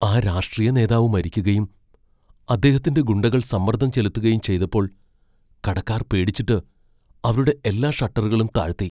ആ രാഷ്ട്രീയ നേതാവ് മരിക്കുകയും അദ്ദേഹത്തിന്റെ ഗുണ്ടകൾ സമ്മർദ്ദം ചെലുത്തുകയും ചെയ്തപ്പോൾ കടക്കാർ പേടിച്ചിട്ട് അവരുടെ എല്ലാ ഷട്ടറുകളും താഴ്ത്തി.